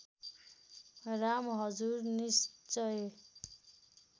राम हजुर निश्चय